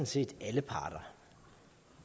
set alle parter